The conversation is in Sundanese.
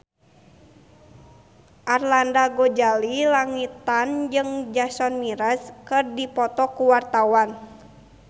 Arlanda Ghazali Langitan jeung Jason Mraz keur dipoto ku wartawan